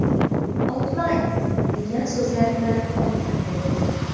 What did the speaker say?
Otmang!” degan so‘zlar bilan baqirib o‘tdi.